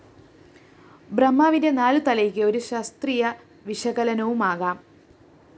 ബ്രഹ്മാവിന്റെ നാലുതലയ്ക്ക് ഒരു ശാസ്ത്രീയ വിശകലനവുമാകാം